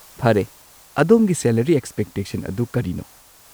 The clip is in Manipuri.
ꯐꯔꯦ, ꯑꯗꯣꯝꯒꯤ ꯁꯦꯂꯔꯤ ꯑꯦꯛꯁꯄꯦꯛꯇꯦꯁꯟ ꯑꯗꯨ ꯀꯔꯤꯅꯣ?